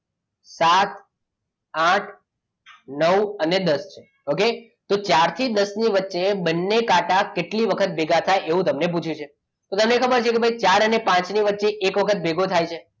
સાત આઠ નવ અને દસ okay તો ચાર થી દસ ની વચ્ચે બંને કાંટા કેટલી વખત ભેગા થાય એવું તમને પૂછ્યું છે તો તમને ખબર છે ચાર અને પાંચ ની વચ્ચે એક વખત ભેગો થાય છે